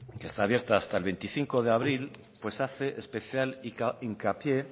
que está abierta hasta el veinticinco de abril pues hace especial hincapié